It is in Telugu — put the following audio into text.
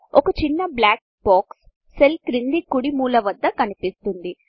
ఒక చిన్న బ్లాక్ బాక్స్ సెల్ క్రింది కుడి మూల వద్ద కనిపిస్తుంది